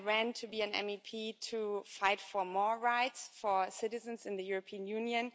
I ran to be an MEP to fight for more rights for citizens in the European Union.